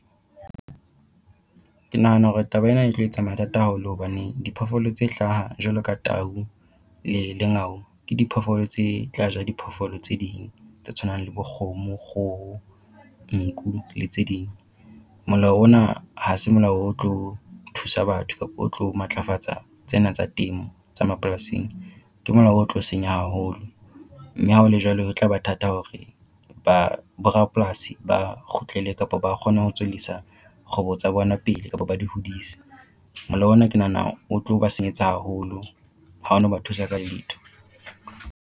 Ke nahana hore taba ena e tlo etsa mathata haholo hobane diphoofolo tse hlaha jwalo ka tau le lengau ke diphoofolo tse tla ja diphoofolo tse ding tse tshwanang le bo kgomo, kgoho, nku le tse ding. Molao ona ha se molao o tlo thusa batho kapo o tlo matlafatsa tsena tsa temo tsa mapolasing. Ke molao o tlo senya haholo mme ha o le jwalo ho tlaba thata hore borapolasi ba kgutlele kapa ba kgone ho tswellisa kgwebo tsa bona pele kapa ba di hodise. Molao ona ke nahana o tlo ba senyetsa haholo ha o na ba thusa ka letho.